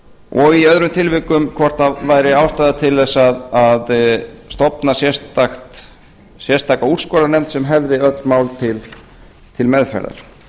og í öðrum tilvikum hvort það væri ástæða til þess að stofna sérstaka úrskurðarnefnd sem hefði öll mál til meðferðar